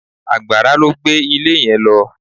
Àgbàrá ló gbé ilé yẹn lọ.